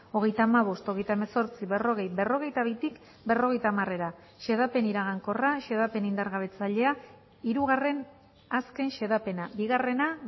hogeita hamabost hogeita hemezortzi berrogei berrogeita bitik berrogeita hamarera xedapen iragankorra xedapen indargabetzailea hirugarren azken xedapena bigarrena